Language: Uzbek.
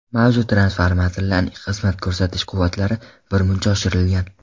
Mavjud transformatorlarning xizmat ko‘rsatish quvvatlari birmuncha oshirilgan.